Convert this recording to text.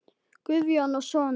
Guðjón og Sonja.